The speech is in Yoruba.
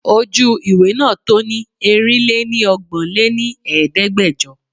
Ojú ìwé náà to ni Erin-lé-ní ọgbọ́n lé ní Ẹ̀ẹ́dẹ́gbẹjọ.